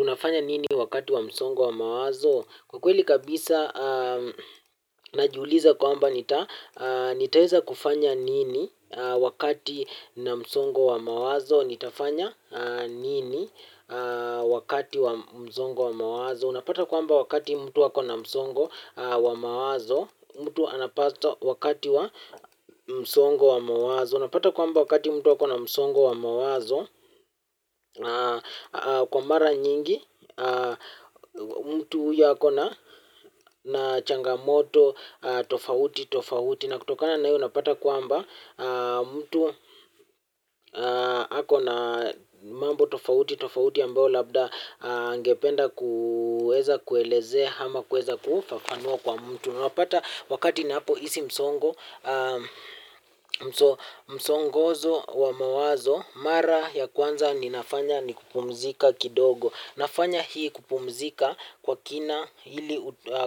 Unafanya nini wakati wa msongo wa mawazo? Kwa kweli kabisa, na jiuliza kwamba nitaweza kufanya nini wakati na msongo wa mawazo? Nitafanya nini wakati wa msongo wa mawazo? Unapata kwamba wakati mtu ako na masongo wa mawazo, mtu anapata wakati wa msongo wa mawazo. Unapata kwa amba wakati mtu wakona msongo wa mawazo, kwa mara nyingi mtu huyo ako na changamoto tofauti tofauti na kutokana hii unapata kwamba mtu ako na mambo tofauti tofauti ambayo labda angependa kuweza kuelezea ama kuweza kufafanua kwa mtu na unapata wakati unapohisi msongo msongozo wa mawazo mara ya kwanza ninafanya ni kupumzika kidogo, nafanya hii kumpumzika kwa kina ili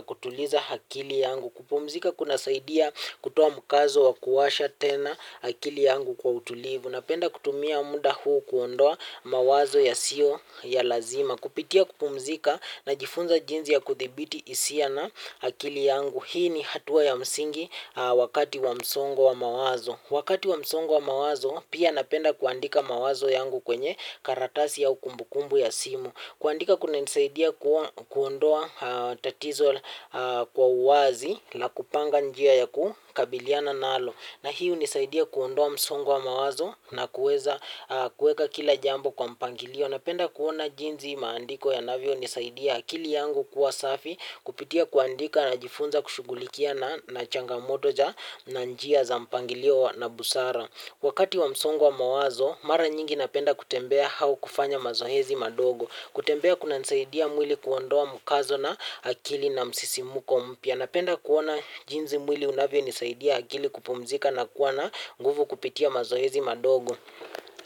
kutuliza akili yangu, kupumzika kunasaidia kutoa mkazo wa kuwasha tena akili yangu kwa utulivu. Napenda kutumia muda huu kuondoa mawazo yasiyo ya lazima. Kupitia kumpumzika najifunza jinsi ya kuthibiti hisia na akili yangu hii ni hatua ya msingi wakati wa msongo wa mawazo. Wakati wa msongo wa mawazo pia napenda kuandika mawazo yangu kwenye karatasi au kumbukumbu ya simu. Kuandika kunanisaidia kuondoa tatizo kwa uwazi na kupanga njia ya kukabiliana nalo. Na hii hunisaidia kuondoa msongo wa mawazo na kuweza kuweka kila jambo kwa mpangilio. Napenda kuona jinsi maandiko yanavyo nisaidia akili yangu kuwa safi kupitia kuandika na jifunza kushughulikia na changamotoja na njia za mpangilio na busara. Wakati wa msongo mawazo, mara nyingi napenda kutembea au kufanya mazoezi madogo. Kutembea kunanisaidia mwili kuondoa mkazo na akili na msisimko mpya napenda kuona jinsi mwili unavyonisaidia akili kupumzika na kuwa na nguvu kupitia mazoezi madogo.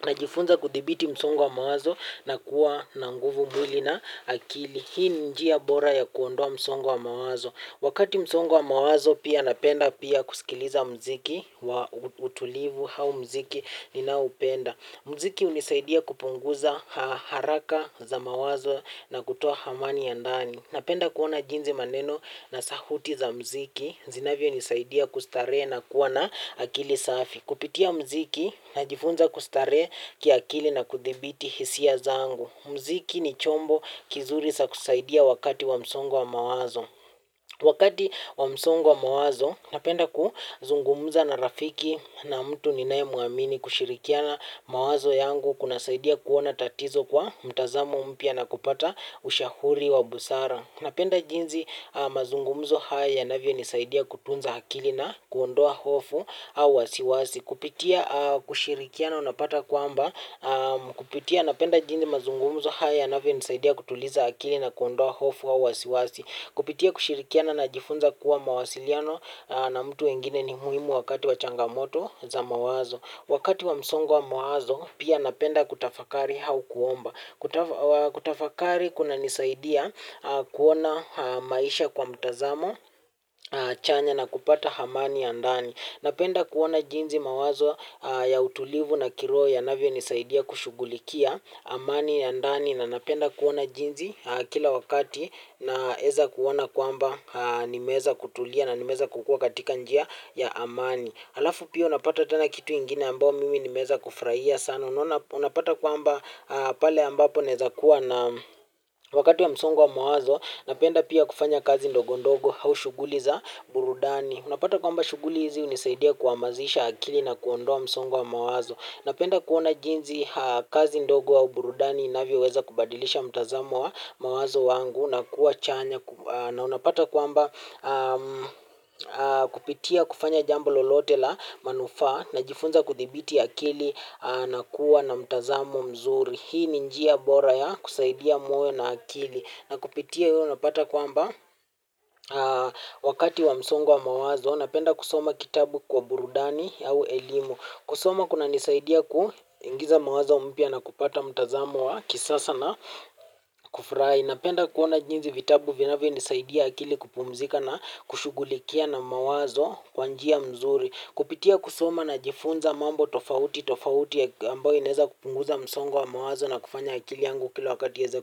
Najifunza kuthibiti msongo wa mawazo na kuwa na nguvu mwili na akili. Hii njia bora ya kuondoa msongo mawazo. Wakati msongo mawazo pia napenda pia kusikiliza mziki wa utulivu au mziki ninaupenda. Mziki hunisaidia kupunguza haraka za mawazo na kutoa amani ya ndani. Napenda kuona jinsi maneno na sauti za mziki. Zinavyonisaidia kustarehe na kuwa na akili safi. Kupitia mziki najifunza kustarehe kiakili na kuthibiti hisia zangu. Mziki ni chombo kizuri za kusaidia wakati wa msongo wa mawazo. Wakati wa msongo wa mawazo, napenda kuzungumza na rafiki na mtu ninayemwamini kushirikiana mawazo yangu kunasaidia kuona tatizo kwa mtazamo mpya na kupata ushauri wa busara. Napenda jinsi mazungumzo haya yanavyonisaidia kutunza akili na kuondoa hofu au wasiwasi. Kupitia kushirikiana unapata kwamba, kupitia napenda jinsi mazungumzo haya yanavyonisaidia kutuliza akili na kuondoa hofu au wasiwasi. Kupitia kushirikia najifunza kuwa mawasiliano na mtu wengine ni muhimu wakati wa changamoto za mawazo. Wakati wa msongo wa mawazo pia napenda kutafakari au kuomba. Kutafakari kunanisaidia kuona maisha kwa mtazamo chanya na kupata amani ya ndani. Napenda kuona jinsi mawazo ya utulivu na kiroho yanavyonisaidia kushughulikia amani ya ndani na napenda kuona jinsi kila wakati naweza kuona kwamba nimeweza kutulia na nimeweza kukua katika njia ya amani. Alafu pia unapata tena kitu ingine ambayo mimi nimeweza kufurahia sana. Unapata kwamba pale ambapo naweza kuwa na wakati wa msongo wa mawazo. Napenda pia kufanya kazi ndogondogo au shughuli za burudani. Unapata kwamba shughuli hizi hunisaidia kuhamasisha akili na kuondoa msongo wa mawazo. Napenda kuona jinsi kazi ndogo au uburudani inavyoweza kubadilisha mtazamo wa mawazo wangu na kuwa chanya na unapata kwamba kupitia kufanya jambo lolote la manufaa najifunza kuthibiti akili na kuwa na mtazamo mzuri. Hii ni njia bora ya kusaidia muwe na akili, na kupitia hiyo unapata kwamba wakati wa msongo wa mawazo napenda kusoma kitabu kwa burudani au elimu. Kusoma kunanisaidia kuingiza mawazo mpya na kupata mtazamo wa kisasa na kufurahi. Napenda kuona jinsi vitabu vinavyonisaidia akili kupumzika na kushughulikia na mawazo kwa njia nzuri. Kupitia kusoma najifunza mambo tofauti tofauti ambayo inaweza kupunguza msongo wa mawazo na kufanya akili yangu kila wakati iweze.